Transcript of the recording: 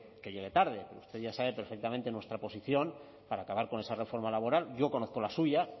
que llegue tarde usted ya sabe perfectamente nuestra posición para acabar con esa reforma laboral yo conozco la suya